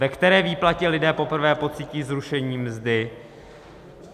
- Ve které výplatě lidé poprvé pocítí zrušení mzdy?